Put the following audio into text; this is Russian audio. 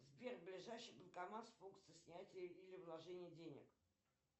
сбер ближайший банкомат с функцией снятия или вложения денег